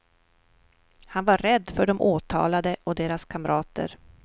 Han var rädd för de åtalade och deras kamrater.